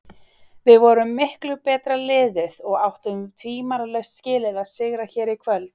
Við vorum miklu betra liðið og áttum tvímælalaust skilið að sigra hér í kvöld.